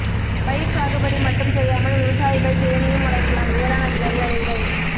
பயிர் சாகுபடி மட்டும் செய்யாமல் விவசாயிகள் தேனீயும் வளர்க்கலாம் வேளாண் அதிகாரி அறிவுரை